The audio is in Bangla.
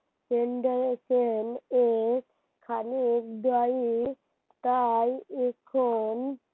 খালি dairy র তাই এখন